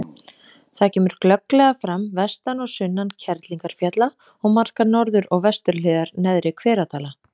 Það kemur glögglega fram vestan og sunnan Kerlingarfjalla og markar norður- og vesturhliðar Neðri-Hveradala.